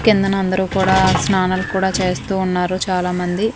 కిందన అందరూ కూడా స్నానాలు కూడా చేస్తూ ఉన్నారు చాలా మంది.